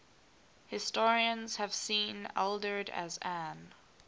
historians have seen ealdred as an